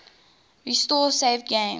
restore saved games